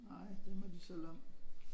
Nej det må de selv om